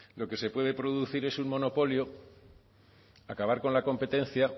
lo que se puede producir es un monopolio acabar con la competencia